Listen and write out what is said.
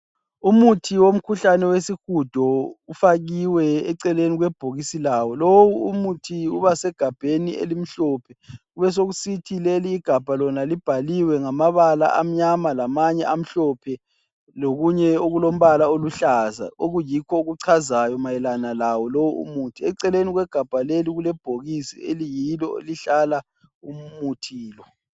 Umuthi womkhuhlane wesihudo ufakiwe eceleni kwebhokisi lawo. Lowu umuthi ubasegabheni elimhlophe, besekusithi leligabha lona libhaliwe ngamabala amnyama lamanye amhlophe lokunye okulombala oluhlaza okuyikho okuchazayo mayelana lawo lo umuthi. Eceleni kwegabha leli kulebhokisi eliyilo elihlala umuthi lo.